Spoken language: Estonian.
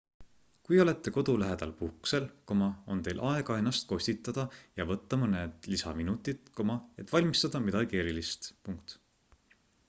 kui olete kodu lähedal puhkusel on teil aega ennast kostitada ja võtta mõned lisaminutid et valmistada midagi erilist